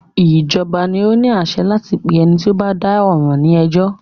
Ìjọba ni o ní àṣẹ láti pé ẹni tí o bá dá ọ̀ràn ní ẹjọ́.